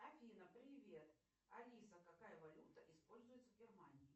афина привет алиса какая валюта используется в германии